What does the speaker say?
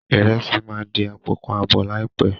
Ìrẹsì máa di àpò kan àbọ̀ láìpé.